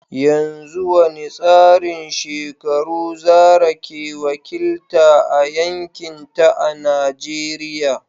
Yanzu wani tsarin shekaru Zarah ke wakilta a yankinta a Najeriya?